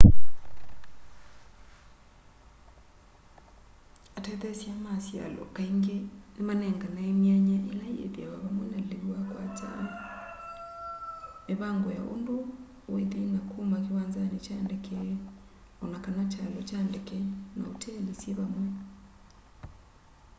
atetheesya ma syalo kaingi ni manenganae myanya ila ithiawa vamwe na liu wa kwakya mivangi ya undu withi na kuma kiwanzani kya ndeke o na kana kyalo kya ndeke na uteli syi vamwe